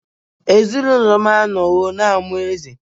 Ezinụlọ m anọwo na-amụ eze